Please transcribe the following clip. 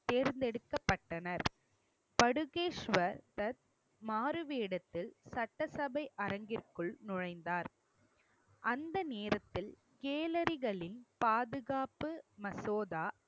தேர்ந்தெடுக்கப்பட்டனர். பதுகேஸ்வர் தத் மாறுவேடத்தில் சட்டசபை அரங்கிற்குள் நுழைந்தார். அந்த நேரத்தில் கேலரிகளில் பாதுகாப்பு மசோதா